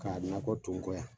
Ka nakɔ to n kɔ yan